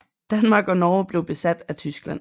Danmark og Norge blev besat af Tyskland